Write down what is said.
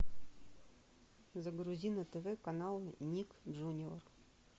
загрузи на тв канал ник джуниор